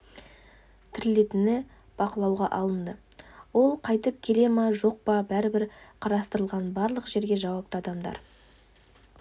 тірелетіні бақылауға алынды ол қайтып келе ма жоқ па бәрі қарастырылған барлық жерге жауапты адамдар